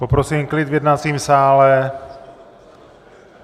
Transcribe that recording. Poprosím klid v jednacím sále.